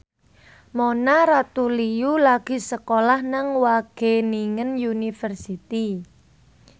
Mona Ratuliu lagi sekolah nang Wageningen University